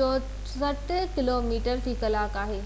64 kilometre في ڪلاڪ آهي